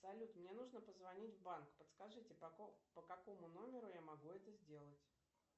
салют мне нужно позвонить в банк подскажите по какому номеру я могу это сделать